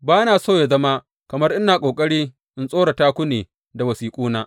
Ba na so yă zama kamar ina ƙoƙari in tsorata ku ne da wasiƙuna.